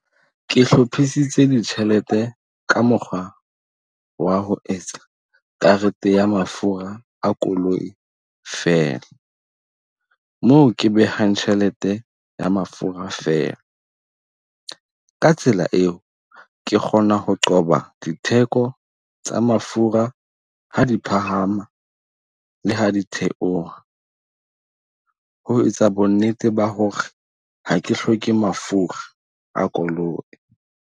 Ke hlophisitse di tjhelete ka mokgwa wa ho etsa karete ya mafura a koloi feela. Moo ke behang tjhelete ya mafura feela. Ka tsela eo ke kgona ho qoba ditheko tsa mafura ha di phahama le ha di theoha. Ho etsa bo nnete ba hore ha ke hloke mafura a koloi.